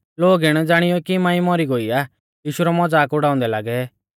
लोग इणै ज़ाणीयौ कि मांई मौरी गोई आ यीशु रौ मज़ाक उड़ाउंदै लागै